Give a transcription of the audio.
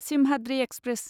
Simhadri express